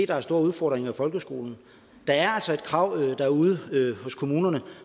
der er store udfordringer i folkeskolen der er altså et krav derude hos kommunerne